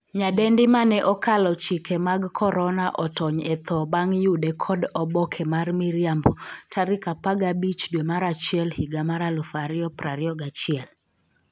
nyadendi mane 'okalo chike mag korona' otony e tho bang' yude kod oboke mar miriambo tarik 15 dwe mar achiel higa mar 2021